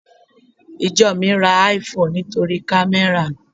Ìjọ mi ra IPhone nítorí kamera.